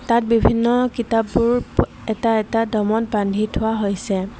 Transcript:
ইয়াত বিভিন্ন কিতাপবোৰ এটা এটা দমত বান্ধি থোৱা হৈছে।